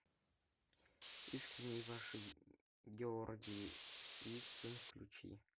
искренне ваш георгий вицин включи